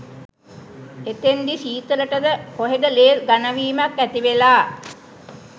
එතෙන්දි සීතලටද කොහෙද‍ ලේ ඝනවීමක් ඇතිවෙලා